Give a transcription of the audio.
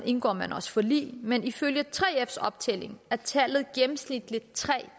indgår man også forlig men ifølge 3fs optælling er tallet gennemsnitligt tre